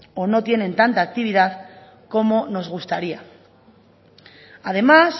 o no tienen tanta actividad como nos gustaría además